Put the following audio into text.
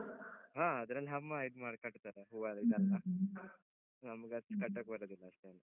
ಹ. ಅದ್ರಲ್ಲಿ ಅಮ್ಮ ಇದ್ಮಾಡಿ ಕಟ್ತಾರೆ ಹೂವೆಲ್ಲ ಇದೆಲ್ಲ. ನಮ್ಗ್ ಅಷ್ಟು ಕಟ್ಟಕ್ ಬರುದಿಲ್ಲ ಅಷ್ಟೆಲ್ಲಾ.